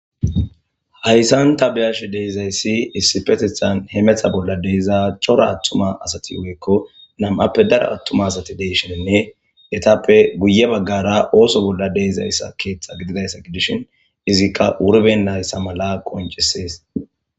hayssan ta bi'ash de'izayssi issipetithan he metha bolla deiza chora attuma asati woekko nam'appe daro attuma asati deysheninne etappe guye baggara ooso bolla deizayssa keeththa gididayssa gidishin izikka wurbenayssa mala qoncisees